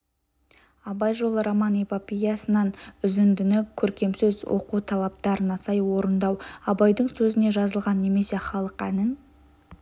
абай жолы роман-эпопеясынан үзіндіні көркемсөз оқу талаптарына сай орындау абайдың сөзіне жазылған немесе халық әнін